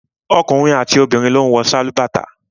Ọkùnrin àti obìnrin ló ń wọ sálúbàtà